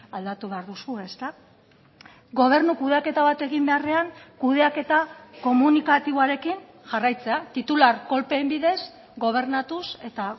aldatu behar duzue ezta gobernu kudeaketa bat egin beharrean kudeaketa komunikatiboarekin jarraitzea titular kolpeen bidez gobernatuz eta